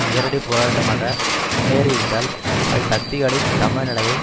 நேரடி போராட்டமாக முன்னேறியிருந்தால் அது சக்திகளின் சமநிலையை